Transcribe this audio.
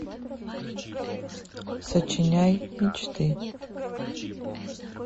сочиняй мечты